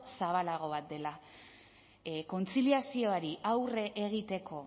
zabalago bat dela kontziliazioari aurre egiteko